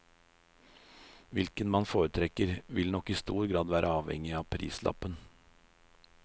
Hvilken man foretrekker, vil nok i stor grad være avhengig av prislappen.